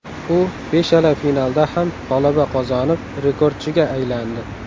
U beshala finalda ham g‘alaba qozonib, rekordchiga aylandi.